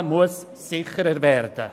Das Velofahren muss sicherer werden.